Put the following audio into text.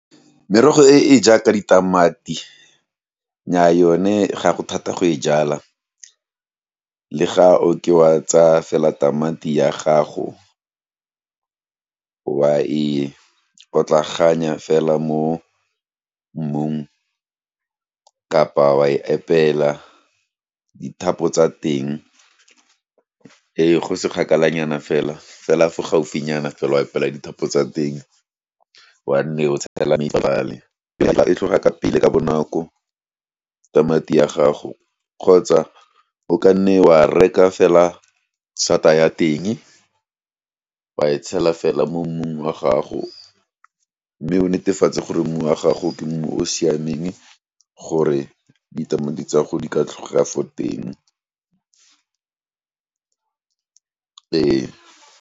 Merogo e e jaaka ditamati, nnya yone gago thata go e jala, le ga o ka tsa fela tamati ya gago, wa e otlaganya fela mo mmung, kapa wa epela dithapo tsa teng, e, go se kgakala nyana fela, fela fo gaufinyana fela, e pela dithapo tsa teng, wa nne o tshela dipale fela e tlhoga ka pele, ka bonako, tamati ya gago, kgotsa o ka nne wa reka fela, sata a ya teng, wa e tshela fela mo mmung wa gago, mme o netefatse gore mmu wa gago, ke mmu o o siameng, gore ditamati tsa go di ka tlhoga fo teng e.